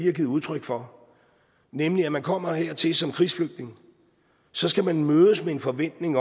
har givet udtryk for nemlig at man kommer hertil som krigsflygtning så skal man mødes med en forventning